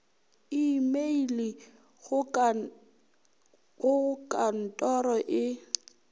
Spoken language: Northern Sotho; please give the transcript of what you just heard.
imeile go ka ntoro e